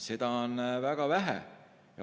Seda on väga vähe.